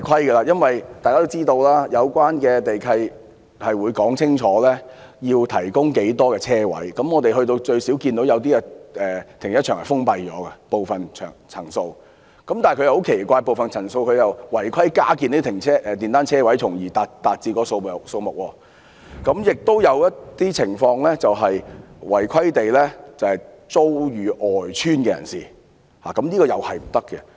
大家都知道，有關地契會說明要提供多少個泊車位，我們看到有些停車場的部分層數已經封閉，但很奇怪，部分樓層卻違規加建電單車車位，從而達至地契要求的數目；亦有些情況是把泊車位出租予邨外人士，這也是違規的。